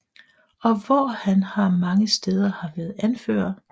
Og hvor han har mange steder har været anfører